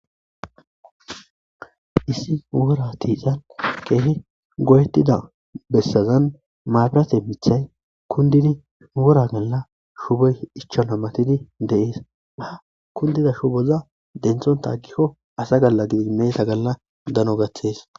Issi wora tiican keehi goyettida bessazan maabirate mithay kundini wora galla shubey ichana matidi deees ha kundida shuboza denthonta aggikko asa galla gidi meeta galla dano gaththes.